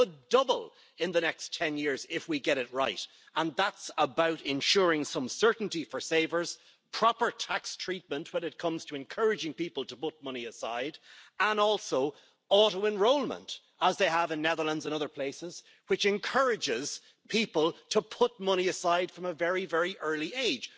That could double in the next 10 years if we get it right, and that's about ensuring some certainty for savers, proper tax treatment when it comes to encouraging people to put money aside and also auto enrolment, as they have in the Netherlands and other places, which encourages people to put money aside from a very early age.